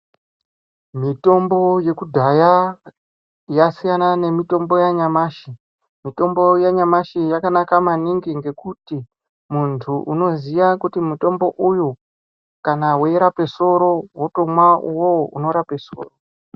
Mitombo yekudhaya yasiyana nemitombo yanyamashi nekuti mitambo yanyamashi yakanaka maningi ngekuti muntu unoziya kuti mutbo uyu kana weirape soro wotomwa uwowo unorape soro.